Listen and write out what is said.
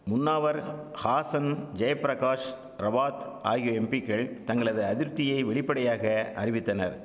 முன்னாவர் ஹாசன் ஜெயப்பிரகாஷ் ரவாத் ஆகிய எம்பிக்கள் தங்களது அதிர்ப்தியை வெளிப்படையாக அறிவித்தனர்